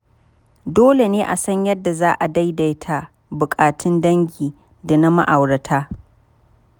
Dole ne a san yadda za a daidaita buƙatun dangi da na ma’aurata.